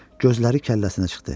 Gözləri kəlləsinə çıxdı.